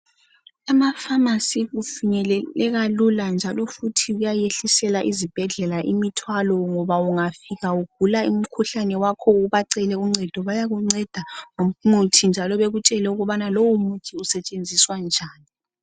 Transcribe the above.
Emafamasi kufinyeleleka lula njalo futhi kuyayehlisela izibhedlela imthwalo ngoba ungafika ugula umkhuhlane wakho ubacele uncedo bayakunceda ngomuthi njalo bakutshele ukubana lowo muthi usetshenziswa kanjani.